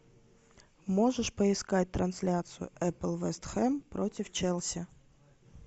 можешь поискать трансляцию апл вест хэм против челси